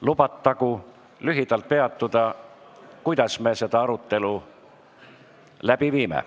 Lubatagu lühidalt peatuda sellel, kuidas me seda arutelu läbi viime.